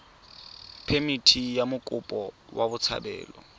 phemithi ya mokopi wa botshabelo